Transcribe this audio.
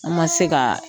An ma se ka